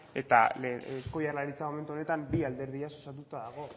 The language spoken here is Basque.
eta eusko jaurlaritza momentu honetan bi alderdiez osatuta dago